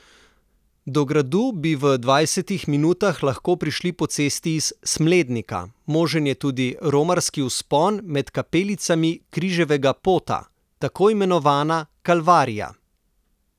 Do gradu bi v dvajsetih minutah lahko prišli po cesti iz Smlednika, možen je tudi romarski vzpon med kapelicami križevega pota, takoimenovana Kalvarija.